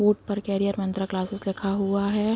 कूट पर Career Mantra Classes लिखा हुआ है।